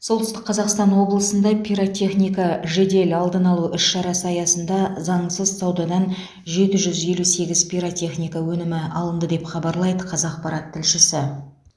солтүстік қазақстан облысында пиротехника жедел алдын алу іс шарасы аясында заңсыз саудадан жеті жүз елу сегіз пиротехника өнімі алынды деп хабарлайды қазақпарат тілшісі